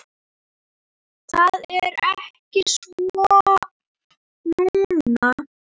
Það er ekki svo núna.